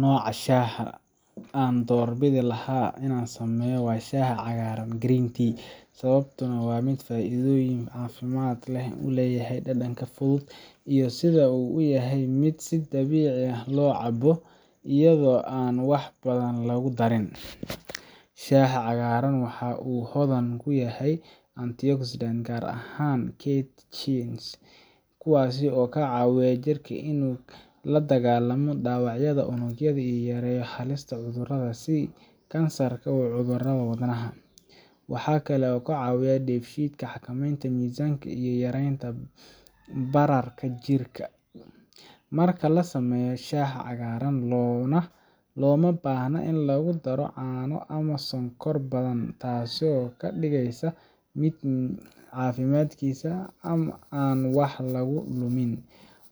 Nooca shaaha aan doorbidi lahaa marka la samaynayo waa shaaha cagaaran green tea, sababtuna waa faa’iidooyinka caafimaad ee uu leeyahay, dhadhanka fudud, iyo sida uu u yahay mid si dabiici ah loo cabbo iyadoo aan wax badan lagu darin. Shaaha cagaaran waxa uu hodan ku yahay antioxidants gaar ahaan catechins, kuwaas oo ka caawiya jirka inuu la dagaallamo dhaawacyada unugyada iyo yareeyo halista cudurrada sida kansarka iyo cudurrada wadnaha. Waxaa kale oo uu caawiyaa dheefshiidka, xakameynta miisaanka, iyo yaraynta bararka jirka. Marka la samaynayo shaaha cagaaran, looma baahna in lagu daro caano ama sonkor badan, taasoo ka dhigaysa mid caafimaadkiisa aan wax lagu lumin.